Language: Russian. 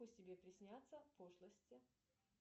пусть тебе приснятся пошлости